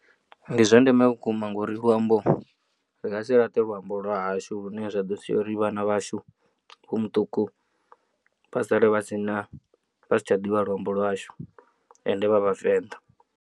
Ndi zwa ndeme vhukuma ngauri luambo ri nga si laṱe luambo lwa hashu lune zwa ḓo sia uri vhana vhashu vho muṱuku vha sale vha si na vha si tsha ḓivha luambo lwashu ende vha vhavenḓa.